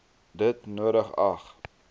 dit nodig ag